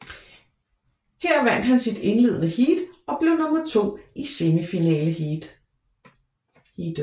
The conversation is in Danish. Her vandt han sit indledende heat og blev nummer to i semifinaleheatet